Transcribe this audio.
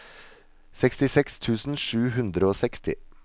sekstiseks tusen sju hundre og seksti